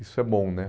Isso é bom, né?